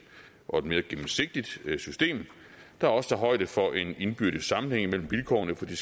og mere gennemsigtigt system der også tager højde for en indbyrdes sammenhæng imellem vilkårene for de